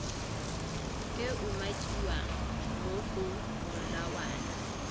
e umakiwang mo go molawana